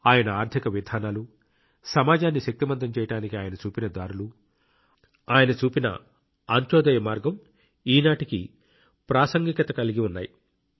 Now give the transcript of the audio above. ఆయన ఆర్థిక విధానాలు సమాజాన్ని శక్తిమంతం చేయడానికి ఆయన చూపిన దారులు ఆయన చూపిన అంత్యోదయ మార్గం ఈనాటికీ ప్రాసంగికత కలిగి ఉన్నాయి